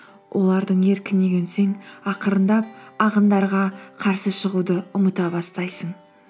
олардың еркіне көнсең ақырындап ағындарға қарсы шығуды ұмыта бастайсың